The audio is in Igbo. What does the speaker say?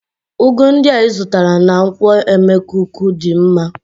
Ugu ndị a ịzụtara na nkwo emekuku dị mma